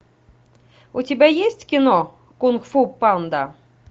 у тебя есть кино кунг фу панда